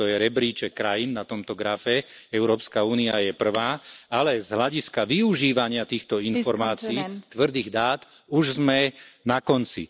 Toto je rebríček krajín na tomto grafe Európska únia je prvá, ale z hľadiska využívania týchto informácií, tvrdých dát, už sme na konci.